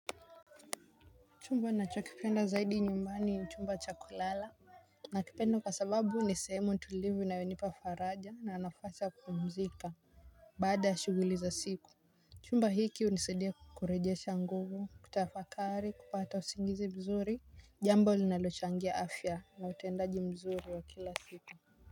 Chumba nacho kipenda zaidi nyumbani chumba cha kulala. Nakipenda kwa sababu nisehemu tulivu inayonipa faraja na nafasi ya kupumzika. Baada ya shughuli za siku. Chumba hiki hunisidia kurejesha nguvu kutafakari kupata usingizi mzuri. Jambo linalochangia afya na utendaji mzuri wa kila siku.